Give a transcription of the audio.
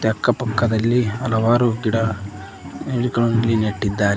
ಅಕ್ಕ ಪಕ್ಕದಲ್ಲಿ ಹಲವಾರು ಗಿಡ ನೆಟ್ಟಿದ್ದಾರೆ.